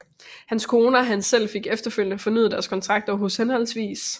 Hans kone og han selv fik efterfølgende fornyet deres kontrakter hos hhv